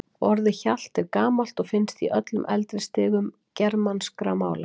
Orðið hjalt er gamalt og finnst í öllum eldri stigum germanskra mála.